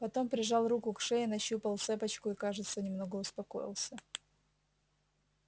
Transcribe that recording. потом прижал руку к шее нащупал цепочку и кажется немного успокоился